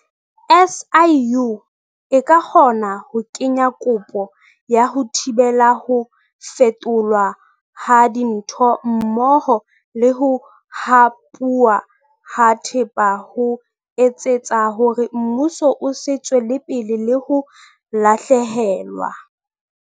SIU e ka kgona ho kenya kopo ya ho thibela ho fetolwa ha dintho mmoho le ho hapuwa ha thepa ho etsetsa hore mmuso o se tswele pele le ho lahlehelwa.